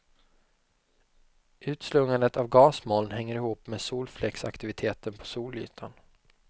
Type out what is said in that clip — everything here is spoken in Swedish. Utslungandet av gasmoln hänger ihop med solfläcksaktiviteten på solytan.